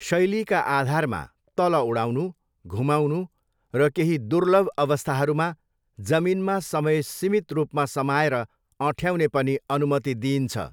शैलीका आधारमा, तल लडाउनु, घुमाउनु र केही दुर्लभ अवस्थाहरूमा जमिनमा समय सीमित रूपमा समाएर अँठ्याउने पनि अनुमति दिइन्छ।